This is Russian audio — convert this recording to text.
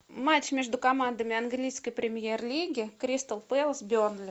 матч между командами английской премьер лиги кристал пэлас бернли